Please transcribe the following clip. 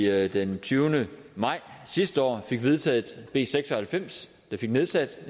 at vi den tyvende maj sidste år fik vedtaget b seks og halvfems og fik nedsat